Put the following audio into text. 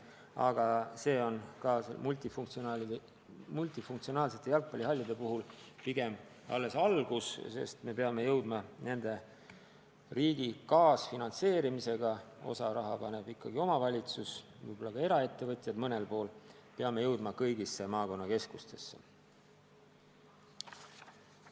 Samas on see multifunktsionaalsete jalgpallihallide puhul pigem alles algus, sest me peame nende riigi kaasfinantseerimisel olevate rajatistega – osa raha paneb ikkagi omavalitsus, võib-olla ka eraettevõtjad mõnel pool – jõudma kõigisse maakonnakeskustesse.